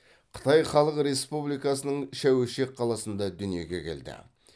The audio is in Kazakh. қытай халық республикасының шәуешек қаласында дүниеге келді